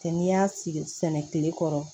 Tɛ n'i y'a sigi sɛnɛ kile kɔrɔ